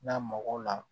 N'a mago la